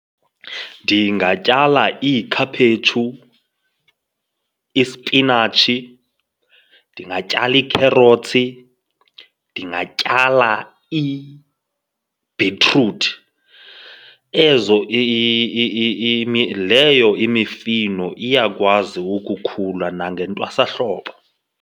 Ndingatyala iikhaphetshu, ispinatshi, ndingatyala iikherotsi, ndingatyala ibhitruthi. Ezo , leyo imifino iyakwazi ukukhula nangentwasahlobo.